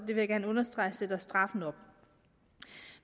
vil jeg gerne understrege sætter straffen op